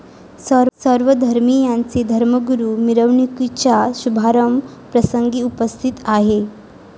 सर्व धर्मियांचे धर्मगुरू मिरवणुकीच्या शुभारंभ प्रसंगी उपस्थित आहेत.